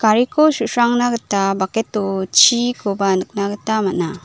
gariko su·srangna gita bucket-o chikoba nikna gita man·a.